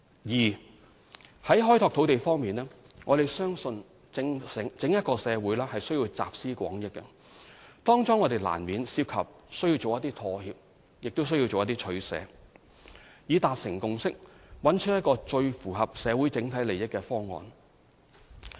二在開拓土地方面，我們相信社會需要集思廣益，當中亦難免涉及妥協和取捨，以達成共識，找出一個最符合社會整體利益的方案。